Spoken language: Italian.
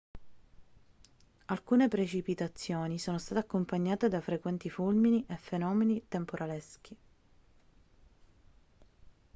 alcune precipitazioni sono state accompagnate da frequenti fulmini e fenomeni temporaleschi